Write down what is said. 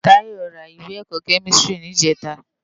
Tayo rá iwé èkò kèmistiri nijètâ